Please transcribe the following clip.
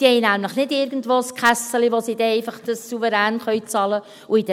Diese haben nämlich nicht irgendwo ein Kässeli, womit sie das dann einfach souverän bezahlen können.